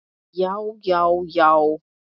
Já, já, já!